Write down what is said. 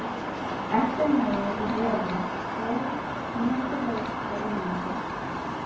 Eplin lágu í röðum, stór, skínandi rauð og ilmandi.